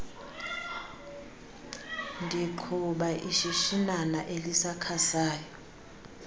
ndiqhuba ishishinana elisakhasayo